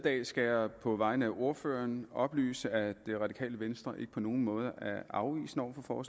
dag skal jeg på vegne af ordføreren oplyse at det radikale venstre ikke på nogen måde er afvisende over for